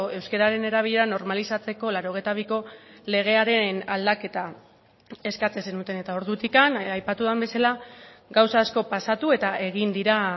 euskararen erabilera normalizatzeko laurogeita biko legearen aldaketa eskatzen zenuten eta ordutik aipatu den bezala gauza asko pasatu eta egin dira